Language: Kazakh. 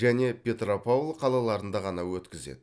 және петропавл қалаларында ғана өткізеді